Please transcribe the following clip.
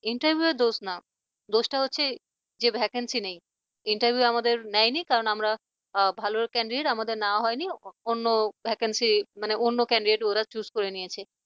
interview র দোষ না দোষটা হচ্ছে যে vacancy নেই interview আমাদের নেয়নি কারণ আমরা ভালো candidate আমাদের নেওয়া হয়নি অন্য vacancy মানে অন্য candidate ওরা choose করে নিয়েছে।